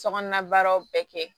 Sokɔnɔna baaraw bɛɛ kɛ